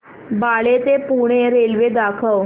बाळे ते पुणे रेल्वे दाखव